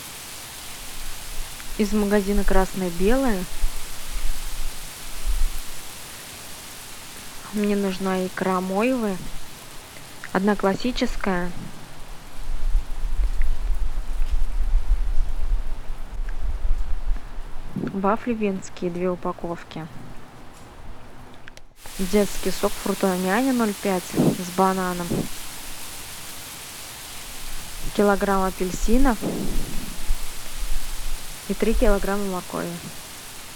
из магазина красное белое мне нужна икра мойвы одна классическая вафли венские две упаковки детский сок фрутоняня ноль пять с бананом килограмм апельсинов и три килограмма моркови